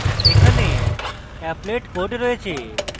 এখানে applet code রয়েছে